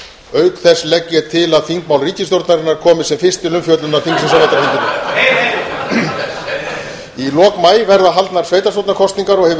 auk þess legg ég til að þingmál ríkisstjórnarinnar komi sem fyrst til umfjöllunar þingsins á vetrarþinginu í lok maí verða haldnar sveitarstjórnarkosningar og hefur